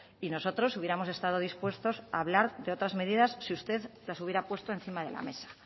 y nosotros hubiéramos estado dispuestos a hablar de otras medidas si usted las hubiera puesto encima de la mesa